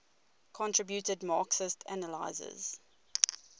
contributed marxist analyses